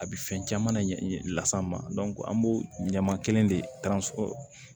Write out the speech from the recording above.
A bɛ fɛn caman ɲɛ las'an ma dɔnku an b'o ɲɛma kelen de